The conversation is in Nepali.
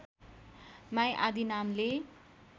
माई आदी नामले